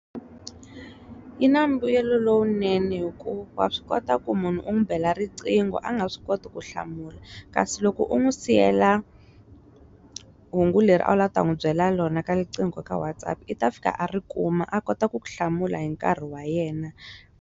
Yi na mbuyelo lowunene hi ku wa swi kota ku munhu u n'wi bela riqhingo a nga swi koti ku hlamula kasi loko u n'wi siyela hungu leri a wu lava ta n'wi byela rona ka riqhingo ka WhatsApp i ta fika a ri kuma a kota ku ku hlamula hi nkarhi wa yena.